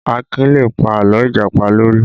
Akin lè pa àlọ́ Ìjàpá lórí